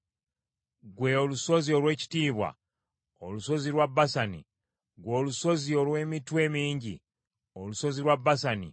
Ggwe olusozi olw’ekitiibwa, olusozi lwa Basani; ggwe olusozi olw’emitwe emingi, olusozi lwa Basani!